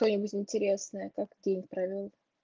что-нибудь интересное как день провёл